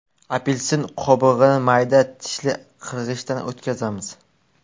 Apelsin qobig‘ini mayda tishli qirg‘ichdan o‘tkazamiz.